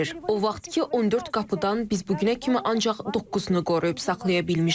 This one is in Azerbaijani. O vaxtkı 14 qapıdan biz bu günə kimi ancaq doqquzunu qoruyub saxlaya bilmişik.